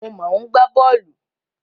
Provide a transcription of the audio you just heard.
Mo máa ń gbá bọ́ọ̀lù.